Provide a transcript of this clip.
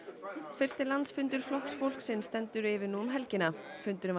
fyrsti landsfundur Flokks fólksins stendur yfir nú um helgina fundurinn var